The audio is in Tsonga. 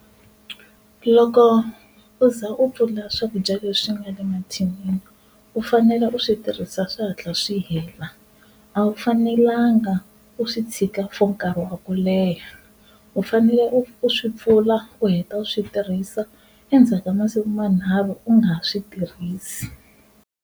Loko u za u pfula swakudya leswi nga le mathinini u fanele u swi tirhisa swi hatla swi hela, a wu fanelanga u swi tshika for nkarhi wa ku leha u fanele u swi pfula u heta u swi tirhisa endzhaku ka masiku manharhu u nga ha swi tirhisi.